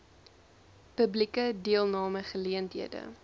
publieke deelname geleenthede